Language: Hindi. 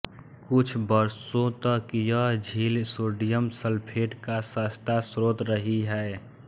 कुछ वर्षों तक यह झील सोडियम सल्फेट का सस्ता स्रोत रही है